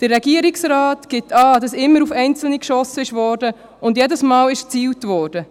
Der Regierungsrat gibt an, es sei immer auf einzelne geschossen und jedes Mal gezielt worden.